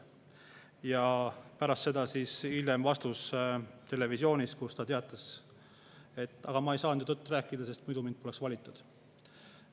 " Ja pärast seda siis teatas ta televisioonis, et ta ei saanud ju tõtt rääkida, sest muidu poleks teda valitud.